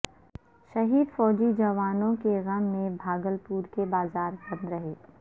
شہید فوجی جوانوں کے غم میں بھا گلپور کے بازار بند رہے